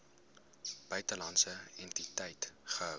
buitelandse entiteit gehou